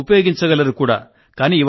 మీరు ఉపయోగించగలరు కూడా